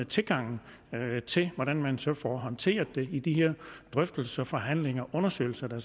tilgangen til hvordan man så får håndteret det i de her drøftelser og forhandlinger og undersøgelser der